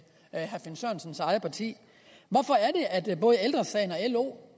herre finn sørensens eget parti både lo